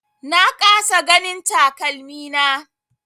Na kasa ganin takalmina.